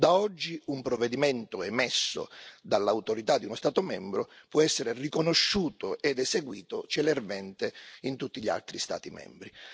Da oggi un provvedimento emesso dall'autorità di uno Stato membro può essere riconosciuto ed eseguito celermente in tutti gli altri Stati membri.